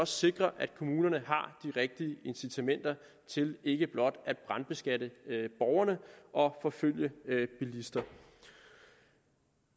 sikre at kommunerne har rigtige incitamenter til ikke blot at brandbeskatte borgerne og forfølge bilister